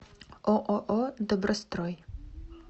ооо добрострой